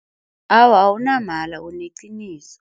Awa awunamala, uneqiniso.